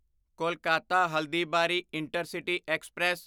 Kolkata Haldibari intercity express